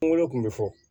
Kungolo kun bɛ fɔ